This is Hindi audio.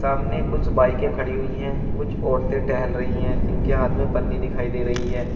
सामने कुछ बाइके खड़ी हुई है कुछ औरतें टहल रही है जिनके हाथ में पन्नी दिखाई दे रही है।